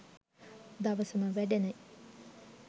දවසම වැඩනෙ